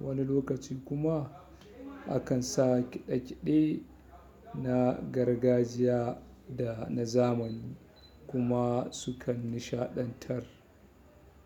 wani lokaci kuma a kan sa ƙiɗe-ƙiɗe na gargajiya da na zamani kuma su kan nishaɗantar.